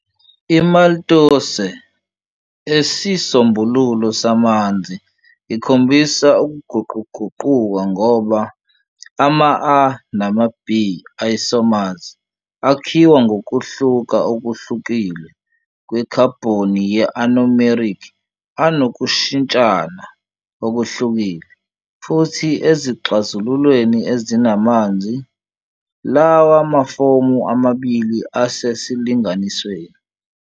IMaltose esisombululo samanzi ikhombisa ukuguquguquka, ngoba ama-α nama-β isomers akhiwa ngokuhluka okuhlukile kwekhabhoni ye-anomeric anokushintshana okuhlukile, futhi ezixazululweni ezinamanzi, lawa mafomu amabili asesilinganisweni.